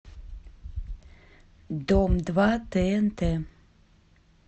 дом два тнт